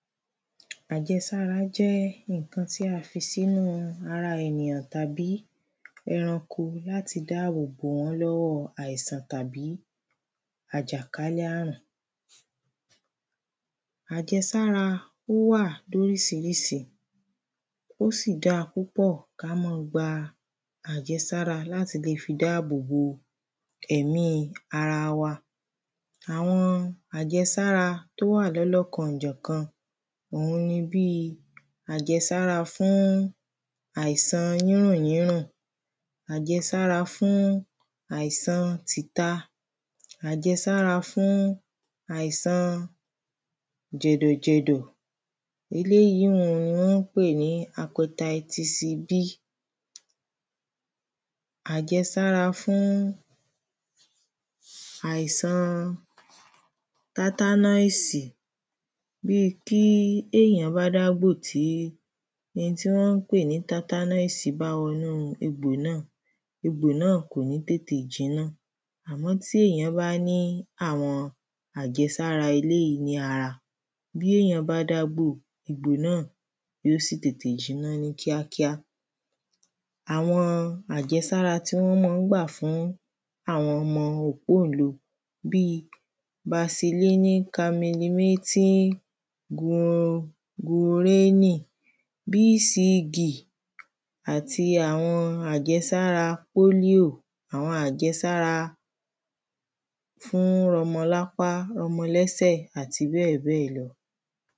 Àjẹsára jẹ́ nǹkan tí a fi sínú ara ènìyàn tàbí ẹranko láti dáàbò bò wọ́n lọ́wọ́ àìsàn tàbí àjàkálẹ̀ àrùn. Àjẹsára ó wà lóríṣiríṣi ó sì da púpọ̀ ká má gba àjẹsára láti le fi dáàbò bò ẹ̀mí aɹa wa. Àwọn àjẹsára tó wà lọ́lọ́kan ọ̀jọ̀kan òhun ni bí àjẹsára fún àìsàn yírùn yírùn àjẹsára fún àìsan tìta àjẹsára fún àìsan jẹ̀dọ̀ jẹ̀dọ̀. Eléèyí ni wọ́n ń pè ní Hepatitis B. Àjẹsára fún àìsan tátánọ́ìsì bí tí èyàn bá dágbò tí n tí wọ́n ń kpè ní tátánóìsì bá wọnú egbò náà egbò náà kò ní tètè jiná. Àmọ́ tí èyàn bá ní àwọn àjẹsára eléèyí ní ara bí èyàn bá dágbò egbò náà yó sì tètè jiná ní kíákíá. Àwọn àjẹsára tí wọ́n má ń gbà fún àwọn ọmọ òpóńle bí?? bcd àti àwọn àjẹsára pólíò àwọn àjẹsára fún rọmọ lápá rọmọ lẹ́sẹ̀ àti bẹ́ẹ̀ bẹ́ẹ̀ lọ.